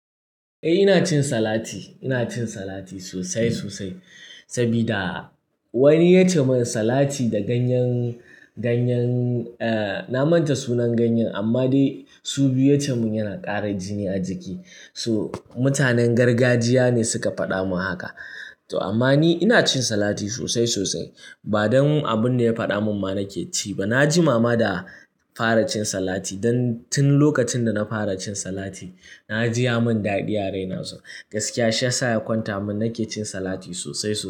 Eh ina cin salati, ina cin salati sosai sosai sabida wani ya ce mun salati da ganyen, ganyen eh na manta sunan ganyen, amma dai su biyu ya ce mun yana ƙara jini a jiki. To mutanen gargajiya ne suka faɗa mun haka to amma ni ina cin salati sosai sosai ba don abun da ya faɗa mun ba nake ci ba. Na ji mama da fara cin salati don tun lokacin da na fara cin salati na ji ya mun daɗi a raina. Gaskiya shi yasa ya kwanta mun nake cin salati sosai sosai.